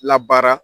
Labaara